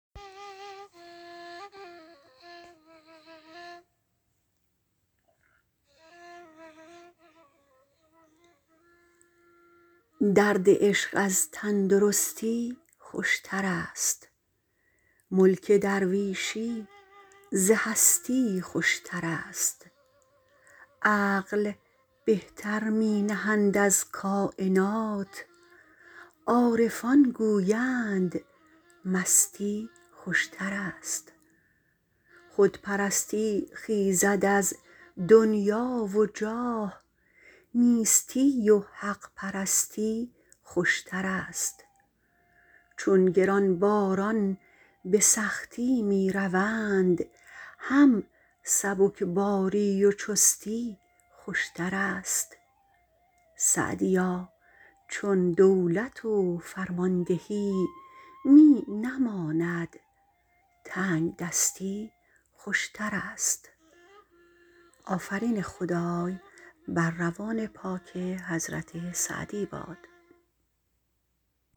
درد عشق از تندرستی خوشتر است ملک درویشی ز هستی خوشتر است عقل بهتر می نهند از کاینات عارفان گویند مستی خوشتر است خودپرستی خیزد از دنیا و جاه نیستی و حق پرستی خوشتر است چون گرانباران به سختی می روند هم سبکباری و چستی خوشتر است سعدیا چون دولت و فرماندهی می نماند تنگدستی خوشتر است